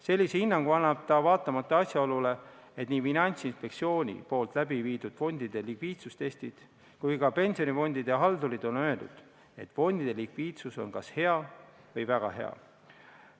Sellise hinnangu annab ta vaatamata asjaolule, et nii Finantsinspektsiooni läbiviidud fondide likviidsuse testid kui ka pensionifondide haldurid on öeldud, et fondide likviidsus on kas hea või väga hea.